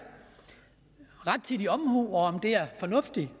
rettidig omhu om det er fornuftigt